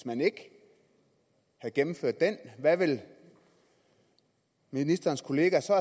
man ikke havde gennemført den hvad ville ministerens kollegaer så